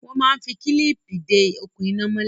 Wọ́n máa ń fi kílíìpì de okùn iná mọ́lè.